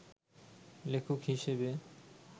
লেখক হিসেবে